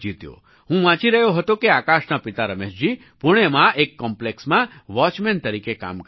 હું વાંચી રહ્યો હતો કે આકાશના પિતા રમેશજી પૂણેમાં એક કૉમ્પ્લેક્સમાં વૉચમેન તરીકે કામ કરે છે